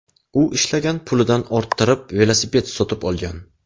U ishlagan pulidan orttirib velosiped sotib olgan.